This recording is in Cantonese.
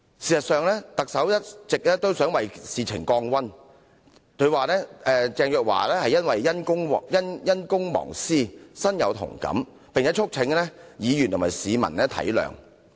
事實上，特首一直想為事件降溫，指鄭若驊司長因公忘私，身同感受，並促請議員和市民體諒。